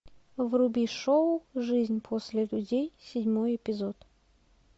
вруби шоу жизнь после людей седьмой эпизод